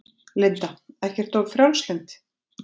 Linda: Ekkert of frjálslynd?